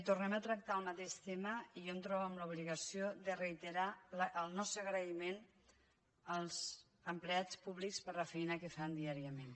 tornem a tractar el mateix tema i jo em trobo en l’obligació de reiterar el nostre agraïment als empleats públics per la feina que fan diàriament